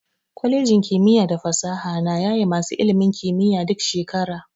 Kwalejin kimiyya da fasaha na yaye masu ilimin kiyiya duk shekara.